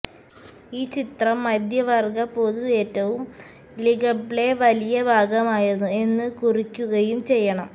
ഈ ചിത്രം മധ്യവർഗ പൊതു ഏറ്റവും ലികബ്ലെ വലിയ ഭാഗമായിരുന്നു എന്ന് കുറിക്കുകയും ചെയ്യണം